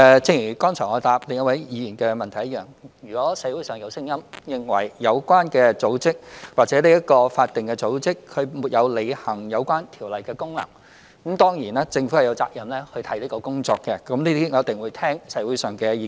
正如我剛才回答另一位議員的補充質詢一樣，如果社會上有聲音，認為有關組織或法定組織沒有履行有關條例的功能，當然，政府便有責任看看這些工作，我們一定會聆聽社會的意見。